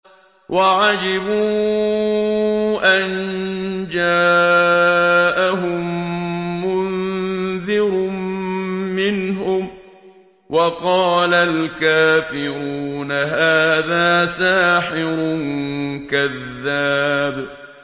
وَعَجِبُوا أَن جَاءَهُم مُّنذِرٌ مِّنْهُمْ ۖ وَقَالَ الْكَافِرُونَ هَٰذَا سَاحِرٌ كَذَّابٌ